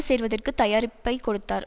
சேருவதற்குத் தயாரிப்பை கொடுத்தார்